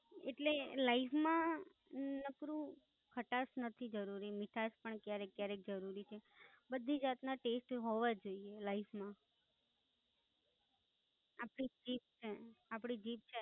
એટલે લાઈફ માં નકરું ખટાસ નથી જરૂરી, મીઠાસ પણ ક્યારેક કયારેક જરૂરી છે, બધી વાત માં ટેસ્ટ હોવો જ જોઈએ લાઈફ માં આપડી જીત છે, આપડી જીત છે.